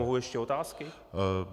Mohu ještě otázky?